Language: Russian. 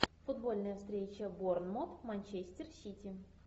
футбольная встреча борнмут манчестер сити